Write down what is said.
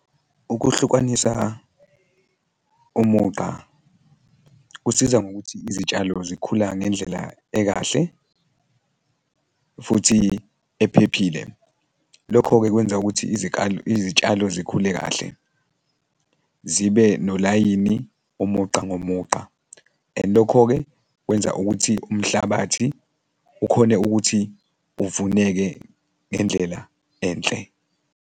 Ukuhlukanisa umugqa kusiza ngokuthi izitshalo zikhula ngendlela ekahle futhi ephephile. Lokho-ke kwenza ukuthi izikalo, izitshalo zikhule kahle zibe nolayini umugqa ngomugqa, and lokho-ke kwenza ukuthi umhlabathi ukhone ukuthi uvuneke ngendlela enhle.